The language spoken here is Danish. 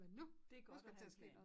Men nu! Nu skal der til at ske noget